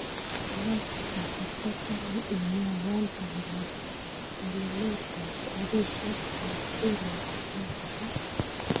Alexa katachame imwawan bandap welelet ab rabishek ab ematinwek alak